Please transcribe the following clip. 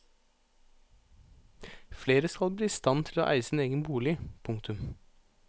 Flere skal bli i stand til å eie sin egen bolig. punktum